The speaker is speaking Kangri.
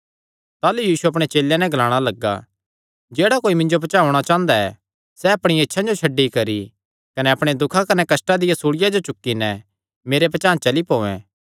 ताह़लू यीशु अपणे चेलेयां नैं ग्लाणा लग्गा जेह्ड़ा कोई मिन्जो पचांह़ औणां चांह़दा ऐ सैह़ अपणियां इच्छां जो छड्डी करी कने अपणे दुखां कने कष्टां दिया सूल़िया चुक्की नैं मेरे पचांह़ चली पोयैं